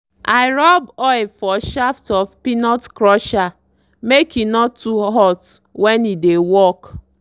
i rub oil for shaft of peanut crusher make e no too hot when e dey work.